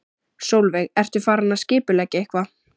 Sólveig: Ertu farin að skipuleggja eitthvað?